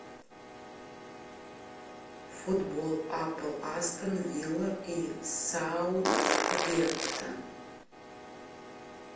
футбол апл астон вилла и саутгемптон